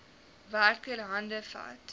werker hande vat